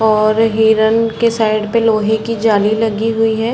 और हिरण की साइड पे लोहे की जाली लगी हुई है।